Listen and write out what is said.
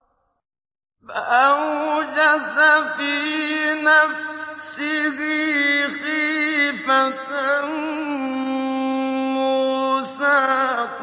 فَأَوْجَسَ فِي نَفْسِهِ خِيفَةً مُّوسَىٰ